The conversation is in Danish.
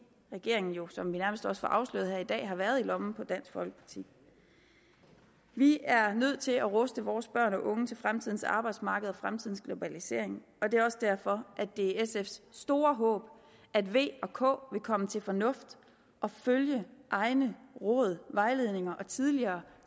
regeringen jo som vi nærmest også får afsløret her i dag har været i lommen på dansk folkeparti vi er nødt til at ruste vores børn og unge til fremtidens arbejdsmarked og fremtidens globalisering og det er også derfor at det er sfs store håb at v og k vil komme til fornuft og følge egne råd vejledninger og tidligere